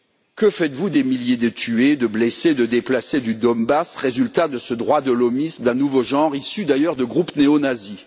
Que faites vous des milliers de tués, de blessés et de déplacés du Donbass, résultat de ce droit de l'hommisme d'un nouveau genre, issu d'ailleurs de groupes néonazis?